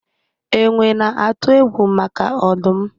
Enwe na-atụ egwu maka ọdụm